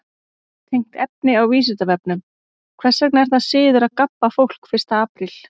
Tengt efni á Vísindavefnum: Hvers vegna er það siður að gabba fólk fyrsta apríl?